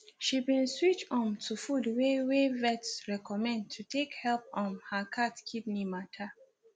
she been switch um to food wey wey vet recommend to take help um her cat kidney matter